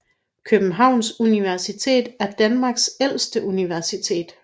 Københavns Universitet er Danmarks ældste universitet